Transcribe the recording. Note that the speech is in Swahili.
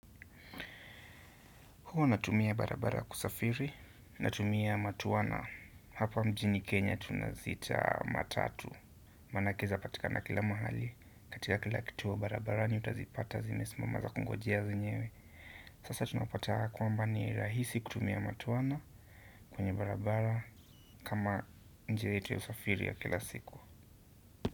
Huwa natumia barabara kusafiri natumia matwana hapa mjini Kenya tunaziita matatu manake zapatika na kila mahali katika kila kituo barabarani utazipata zimesimama zakungojea zenyewe sasa tunapata kwamba ni rahisi kutumia matwana kwenye barabara kama njia yetu ya usafiri ya kila siku.